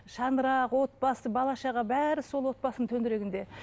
шаңырақ отбасы бала шаға бәрі сол отбасының төңірегінде